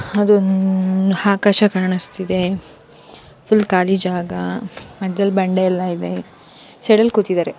ಅದೊಂದು ಆಕಾಶ ಕನಿಸ್ತ ಇದೆ ಫುಲ್ ಖಾಲಿ ಗಜ ಮಧ್ಯ ಬಂದೆ ಎಲ್ಲ ಇದೆ ಚಳಿಯಲ್ಲಿ ಕೂತಿದ್ದಾರೆ.